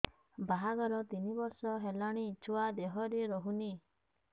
ବାହାଘର ତିନି ବର୍ଷ ହେଲାଣି ଛୁଆ ଦେହରେ ରହୁନି